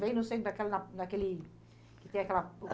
Bem no centro daquela, naquele... Que tem aquela...